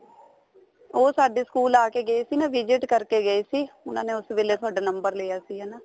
ਉਹ ਸਾਡੇ school ਆ ਕੇ ਗਏ ਸੀ ਨਾ visit ਕਰਕੇ ਗਏ ਸੀ ਉਹਨਾ ਨੇ ਉਸ ਵੇਲੇ ਤੁਹਾਡਾ number ਲਿਆ ਸੀ ਹਨਾ